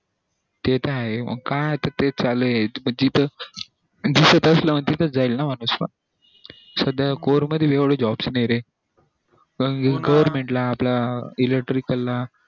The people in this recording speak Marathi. ते त आहे काय आता तेच चालू ये पण जिथं च जाईल ना माणूस सध्या score मध्ये पण एवढे job नई रे पण government ला आपल्या electrical ला